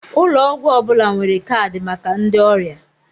Ụlọ ọgwụ ọ bụla nwere kaadị maka ndị oria